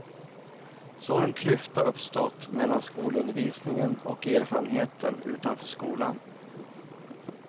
Så har en klyfta uppstått mellan skolundervisningen och erfarenheten utanför skolan.